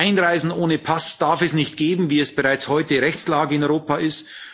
Einreisen ohne Pass darf es nicht geben, wie es bereits heute Rechtslage in Europa ist.